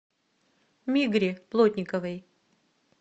мигре плотниковой